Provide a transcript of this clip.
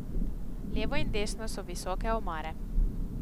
Levo in desno so visoke omare.